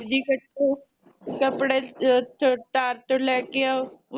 ਸਬਜ਼ੀ ਕਟੋ ਕੱਪੜੇ ਚ ਚ ਤਾਰ ਤੋਂ ਲੈ ਕੇ ਆਓ